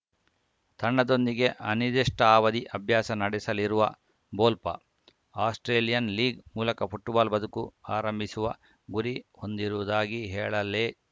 ತಂಡದೊಂದಿಗೆ ಅನಿರ್ದಿಷ್ಟಾವಧಿ ಅಭ್ಯಾಸ ನಡೆಸಲಿರುವ ಬೋಲ್ಪಾ ಆಸ್ಪ್ರೇಲಿಯನ್‌ ಲೀಗ್‌ ಮೂಲಕ ಫುಟ್ಬಾಲ್‌ ಬದುಕು ಆರಂಭಿಸುವ ಗುರಿ ಹೊಂದಿರುವುದಾಗಿ ಹೇಳಲೇ